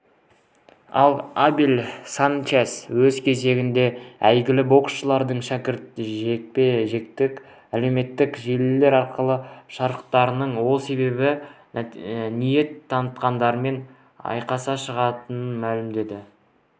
ал абель санчес өз кезегінде әйгілі боксшылардың шәкіртінжекпе-жеккетек әлеуметтік желілер арқылы шақыратынын сол себепті ниет танытқандармен айқасқа шығатынын мәлімдеді